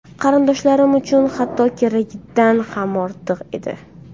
Qarindoshlarim uchun bu hatto keragidan ham ortiq edi.